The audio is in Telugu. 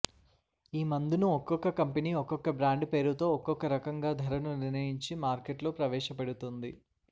ఈ మందు ను ఒక్కొక్క కంపెనీ ఒక్కొక్క బ్రాండ్ పేరుతో ఒకొక్కరకంగా ధరను నిర్ణయించి మార్కెట్లో ప్రవేశ పెడుతోంది